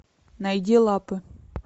найди лапы